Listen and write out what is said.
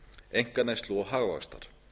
einkaneyslu og hagvaxtar